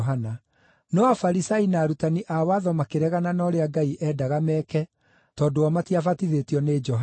No Afarisai na arutani a watho makĩregana na ũrĩa Ngai endaga meke, tondũ o matiabatithĩtio nĩ Johana.)